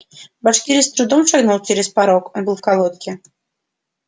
башкирец трудом шагнул через порог он был в колодке